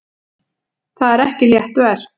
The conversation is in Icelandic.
Það er ekki létt verk.